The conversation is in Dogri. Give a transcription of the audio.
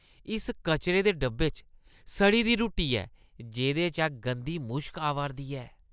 इस कचरे दे डब्बे च सड़ी दी रुट्टी ऐ जेह्दे चा गंदी मुश्क आवा'रदी ऐ।